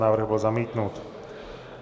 Návrh byl zamítnut.